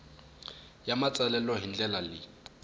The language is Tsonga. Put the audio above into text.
ya matsalelo hi ndlela leyi